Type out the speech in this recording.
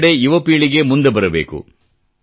ಎಲ್ಲೆಡೆ ಯುವಪೀಳಿಗೆ ಮುಂದೆ ಬರಬೇಕು